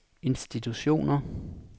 institutioner